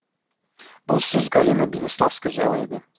бұл сөз галина бениславская жайлы еді